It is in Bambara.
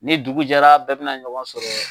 Ni dugu jɛra bɛɛ bɛna ɲɔgɔn sɔrɔ